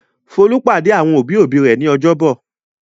Folú pàdé àwọn òbí-òbí rẹ̀ ní ọjọ́bọ̀.